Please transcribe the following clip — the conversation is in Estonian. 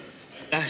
Aitäh!